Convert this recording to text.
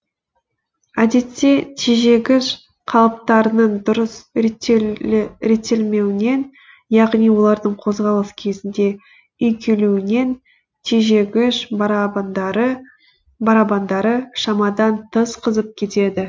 әдетте тежегіш қалыптарының дұрыс реттелмеуінен яғни олардың қозғалыс кезінде үйкелуінен тежегіш барабандары шамадан тыс қызып кетеді